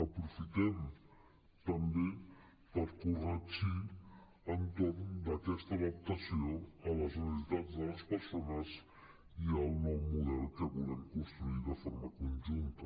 aprofitem també per corregir entorn d’aquesta adaptació a les necessitats de les persones i al nou model que volem construir de forma conjunta